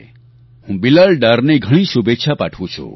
હું બિલાલ ડારને ઘણી શુભેચ્છા પાઠવું છું